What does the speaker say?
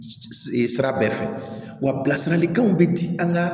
Sira bɛɛ fɛ wa bilasiralikanw bɛ di an ka